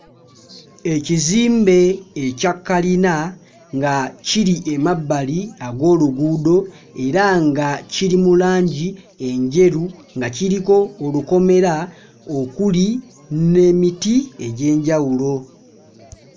Ekizimbe ekya kalina nga kiri amabbali ag'oluguudo era nga kiri mu langi enjeru nga kiriko olukomera okuli n'emiti egy'enjawulo.